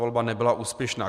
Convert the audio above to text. Volba nebyla úspěšná.